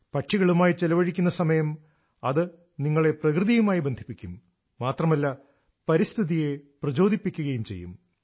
പക്ഷികളുമായി ചെലവഴിക്കുന്ന സമയം അത് നിങ്ങളെ പ്രകൃതിയുമായി ബന്ധിപ്പിക്കും മാത്രമല്ല പരിസ്ഥിതിയെ പ്രചോദിപ്പിക്കുകയും ചെയ്യും